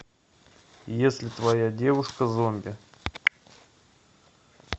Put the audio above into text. если твоя девушка зомби